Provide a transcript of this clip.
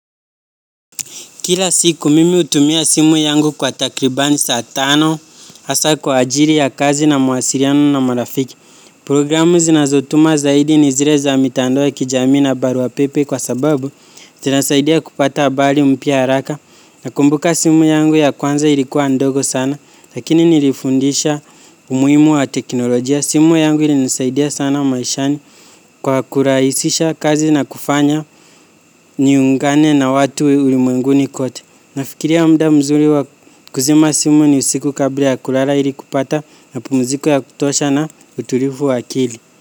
Kila siku mimi hutumia simu yangu kwa takribani saa tano hasa kwa ajili ya kazi na mawasiliano na marafiki. Programu zinazotuma zaidi ni zile za mitandao ya kijamii na baruapepe kwa sababu zinasaidia kupata habari mpya haraka. Nakumbuka simu yangu ya kwanza ilikuwa ndogo sana lakini nilifundisha umuhimu wa teknolojia. Simu yangu ilinisaidia sana maishani kwa kurahisisha kazi na kufanya niungane na watu ulimwenguni kote. Nafikiria muda mzuri wa kuzima simu ni usiku kabla ya kulala ili kupata mapumziko ya kutosha na utulivu wa akili.